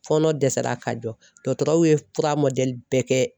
Fɔɔnɔ dɛsɛra ka jɔ dɔtɔrɔw ye fura bɛɛ kɛ.